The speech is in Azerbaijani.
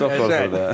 Çox qorxurdu da.